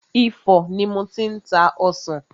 Ifo ni mo ti ń ta ọsàn.